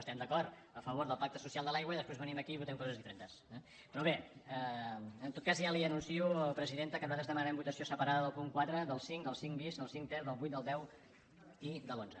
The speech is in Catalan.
estem d’acord a favor del pacte social de l’aigua i després venim aquí i votem coses diferents eh però bé en tot cas ja li anuncio presidenta que nosaltres demanarem votació separada del punt quatre del cinc del cinc bis del cinc ter del vuit del deu i de l’onze